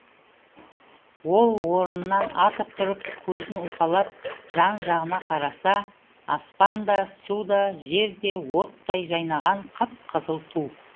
ол орнынан атып тұрып көзін уқалап жан жағына қараса аспан да су да жер де оттай жайнаған қып қызыл ту